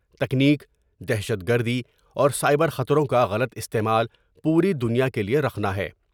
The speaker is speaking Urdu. تکنیک ، دہشت گردی اور سائبر خطروں کا غلط استعمال پوری دنیا کے لئے رخنہ ہے ۔